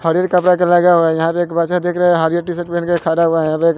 हरियर T shirt पहनके खड़ा हुआ है यहां पे एक--